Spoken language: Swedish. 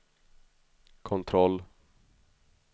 kontroll